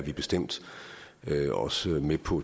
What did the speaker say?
er bestemt også med på